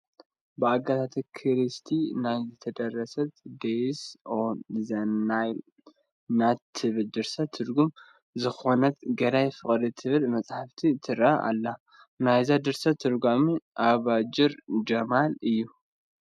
ብኣጋታ ክሪስቲ ናይ ዝተደረሰት ዴዝ ኦን ዘ ናይል ናት ትብል ድርሰት ትርጉም ዝኾነት ገዳይ ፍቅር ትብል መፅሓፍ ትርኣየና ኣላ፡፡ ናይዛ ድርሰት ተርጓሚ ኣባድር ጀማል እዩ፡፡